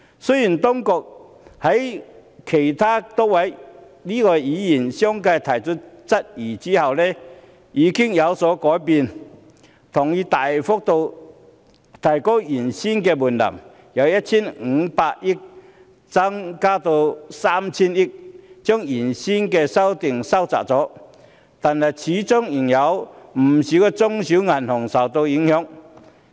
雖然當局在多位議員相繼提出質疑後已經有所改變，同意大幅度提高原本的門檻，由 1,500 億元增至 3,000 億元，把原本的規定收窄了，但始終仍有不少中小型銀行會受影響。